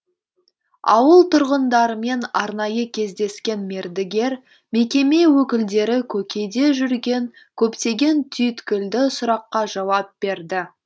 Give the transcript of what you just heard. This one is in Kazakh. ауыл тұрғындарымен арнайы кездескен мердігер мекеме өкілдері көкейде жүрген көптеген түйткілді сұраққа жауап берді